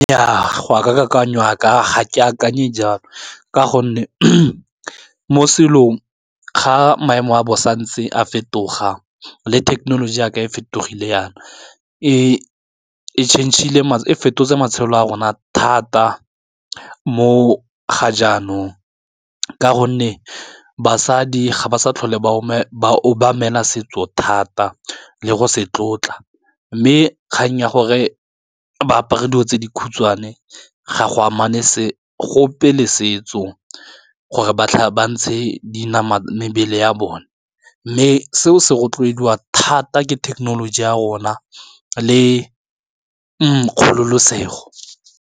Nnyaa ga ka kakanyo yaaka ga ke akanye jalo ka gonne mo selong ga maemo a bosa ntse a fetoga le thekenoloji jaaka e fetogile yana e fetotse matshelo a rona thata mo ga jaanong, ka gonne basadi ga ba sa tlhole ba obamela setso thata le go se tlotla, mme kgang ya gore ba apara dilo tse dikhutshwane ga go amana gope le setso gore ba ntshe mebele ya bone mme seo se rotloediwa thata ke thekenoloji ya rona le kgololosego.